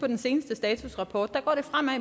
den seneste statusrapport går det fremad